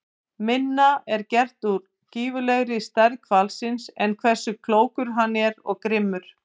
Minna er gert úr gífurlegri stærð hvalsins en hversu klókur hann er og grimmur.